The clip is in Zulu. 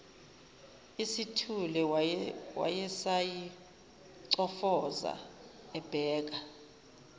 isithule wayesayicofoza ebheka